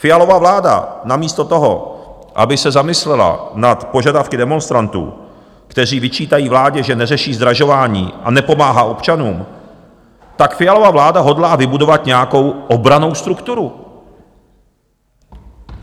Fialova vláda namísto toho, aby se zamyslela nad požadavky demonstrantů, kteří vyčítají vládě, že neřeší zdražování a nepomáhá občanům, tak Fialova vláda hodlá vybudovat nějakou obrannou strukturu.